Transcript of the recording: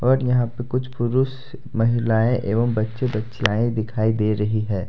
और यहां पे कुछ पुरुष महिलाएं एवं बच्चे बच्चियाएं दिखाई दे रही हैं ।